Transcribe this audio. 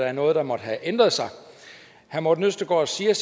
er noget der måtte have ændret sig herre morten østergaard siger